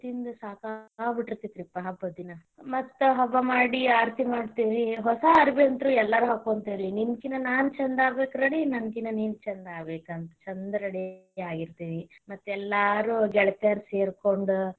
ತಿಂದ್ ಸಾಕಾಗ್ಬಿಟ್ಟಿರ್ಥೈತಿ ಪಾ ಹಬ್ಬದ ದಿನಾ ಮತ್ತ ಹಬ್ಬ ಮಾಡಿ ಆರತಿ ಮಾಡ್ತೀವಿ ಹೊಸ ಅರವಿ ಅಂತರು ಎಲ್ಲರೂ ಹಾಕೋಂತೇವಿ ರೀ ನಿನ ಕಿನಾ ನಾನ ಚಂದ ಆಗ್ಬೇಕ ready ನಾನಕಿನಾ ನೀನ್ ಚಂದ ಆಗ್ಬೇಕ ಅಂತ, ಚಂದ ready ಆಗಿರ್ತೇವಿ ಮತ್ತ ಎಲ್ಲಾರು ಗೆಳತ್ಯಾರ್ ಸೇರ್ಕೊಂಡ.